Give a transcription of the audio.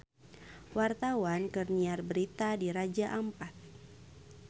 Wartawan keur nyiar berita di Raja Ampat